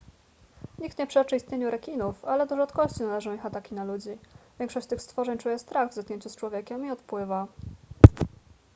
nikt nie przeczy istnieniu rekinów ale do rzadkości należą ich ataki na ludzi większość tych stworzeń czuje strach w zetknięciu z człowiekiem i odpływa